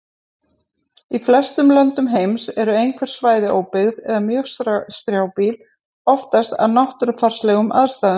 Í flestum löndum heims eru einhver svæði óbyggð eða mjög strjálbýl, oftast af náttúrufarslegum aðstæðum.